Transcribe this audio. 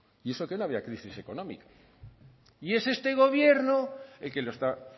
y eso que no había crisis económica y es este gobierno el que lo